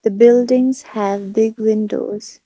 buildings have big windows.